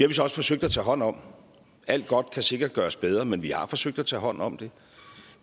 vi så også forsøgt at tage hånd om alt godt kan sikkert gøres bedre men vi har forsøgt at tage hånd om det